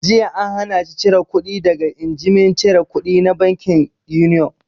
Jiya an hana shi cire kuɗi daga injimin cire kudi na bankin Union!